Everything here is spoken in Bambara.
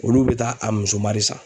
Olu bɛ taa a musoma de san.